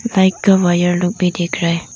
Side का wire लोग भी दिख रहा है।